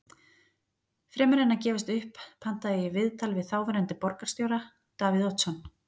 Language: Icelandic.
Fremur en að gefast upp pantaði ég viðtal við þáverandi borgarstjóra, Davíð Oddsson.